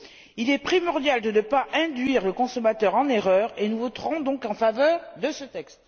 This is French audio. Il est primordial de ne pas induire le consommateur en erreur et nous voterons donc en faveur de ce texte.